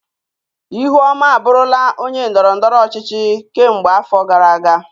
Ihuoma abụrula onye ndọrọ ndọrọ ọchịchị kemgbe afọ gara aga.